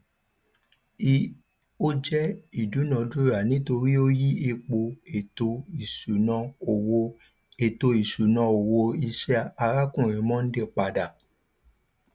ii ò jẹ ìdúnadúrà nítorí ó yí ipò ètò ìṣúná owó ètò ìṣúná owó iṣẹ arákùnrin mondal padà